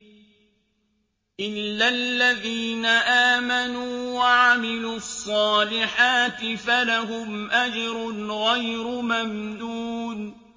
إِلَّا الَّذِينَ آمَنُوا وَعَمِلُوا الصَّالِحَاتِ فَلَهُمْ أَجْرٌ غَيْرُ مَمْنُونٍ